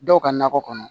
Dɔw ka nakɔ kɔnɔ